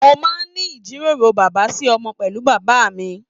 Mo máa n ní ijiroro bàbá sí ọmọ pẹlú bàbá mí.